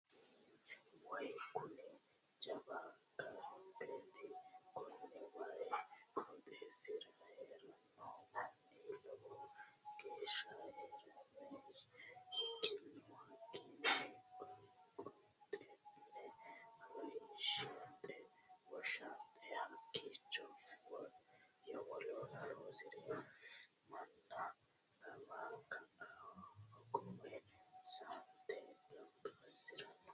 Waayi kuni jawa garbati koni waayi qooxeesira heerano manni lowo geeshsha horameye ikkino hakkini qulxume woshaxe hakkicho yowolo loosire manna kawa ka"a hogowe saante gamba assirano.